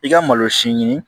I ka malosi ɲini